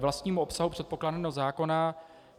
K vlastnímu obsahu předkládaného zákona.